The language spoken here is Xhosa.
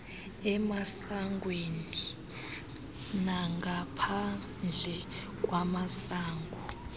emasangweni nangaphandle kwamasango